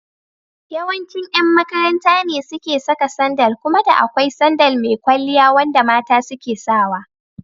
Yawancin yan makaranta ne suke saka sandal kuma da akwai sandal mai kwalliya wanda mata suke sawa.